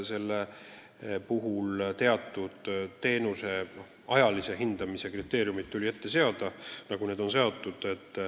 Sel põhjusel tuli teenuse osutamisel seada ajalised kriteeriumid.